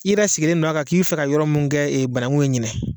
I yɛrɛ sigilen no a kan k'i bɛ fɛ ka yɔrɔ mun kɛ banagun ye ɲinɛ